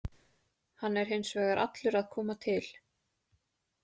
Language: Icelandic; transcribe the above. Hann er hins vegar allur að koma til.